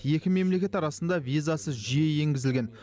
екі мемлекет арасында визасыз жүйе енгізілген